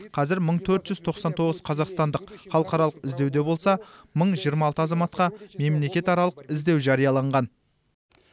қазір мың төрт жүз тоқсан тоғыз қазақстандық халықаралық іздеуде болса мың жиырма алты азаматқа мемлекетаралық іздеу жарияланған